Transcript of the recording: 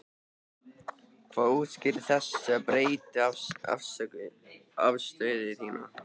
Hvað útskýrir þessa breyttu afstöðu þína?